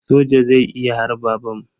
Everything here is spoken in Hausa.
Soja zai iya harba bam.